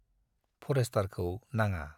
फरेष्टारखौ नाङा।